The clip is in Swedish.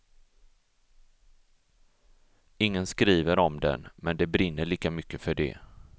Ingen skriver om den, men det brinner lika mycket för det.